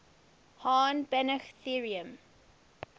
hahn banach theorem